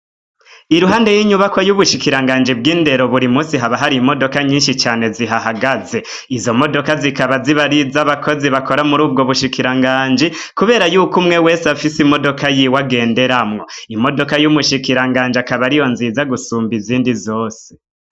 Iruhande y'inyubakwa y'ubushikiranganji bw'indero, buri musi haba hari imodoka nyishi cane zihahagaze. Izo modoka zikaba ziba ari iza abakozi bakora muri ubwo bushikiranganji, kubera yuko umwe wese afise imodoka yiwe agenderamwo. Imodoka y'umushikiranganji akaba ari yo nziza gusumba izindi zose.